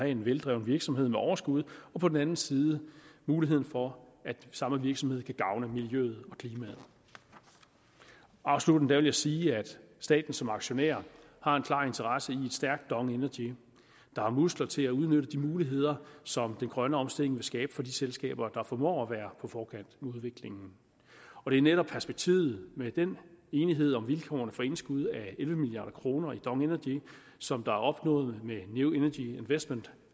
en veldrevet virksomhed med overskud og på den anden side muligheden for at samme virksomhed kan gavne miljøet og klimaet afsluttende vil jeg sige at staten som aktionær har en klar interesse i et stærkt dong energy der har muskler til at udnytte de muligheder som den grønne omstilling vil skabe for de selskaber der formår at være på forkant med udviklingen og det er netop perspektivet med den enighed om vilkårene for indskud af elleve milliard kroner i dong energy som er opnået med new energy investment